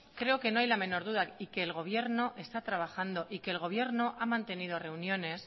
creo que no hay la menor duda y que el gobierno está trabajando y el gobierno ha mantenido reuniones